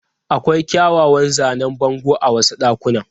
Akwai kyawawan zanen bango a wasu ɗakunan.